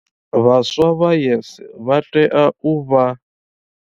Vhaswa vha YES vha tea u vha.